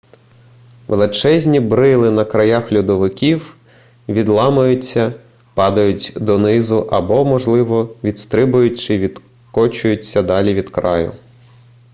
величезні брили на краях льодовиків відламуються падають донизу або можливо відстрибують чи відкочуються далі від краю